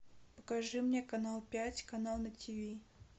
покажи мне канал пять канал на тв